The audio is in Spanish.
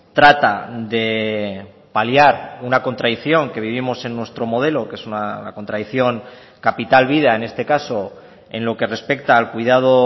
trata de paliar una contradicción que vivimos en nuestro modelo que es una contradicción capital vida en este caso en lo que respecta al cuidado